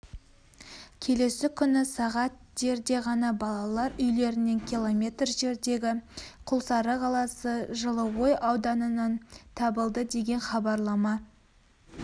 келесі күні сағат дерде ғана балалар үйлерінен километр жердегі құлсары қаласы жылыой ауданынан табылды деген хабарлама